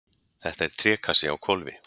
Þetta er trékassi á hvolfi.